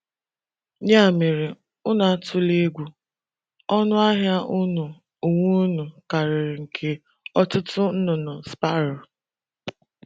Ya mere, unu atụla egwu; ọnụ ahịa unu onwe unu karịrị nke ọtụtụ nnụnụ Sparo. ”